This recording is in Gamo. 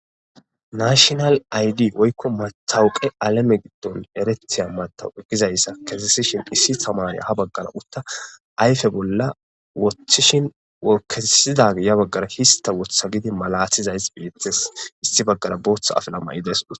nashinal aydi woykko matawuqe alame giddon eretiya matawu egizayssa kesesishin issi tamanya ha baggara utta ayfe bolla woththishin wokkesidage ya baggara hista wotha gidi malathizays beetes issi baggara booththa afla may7idaysud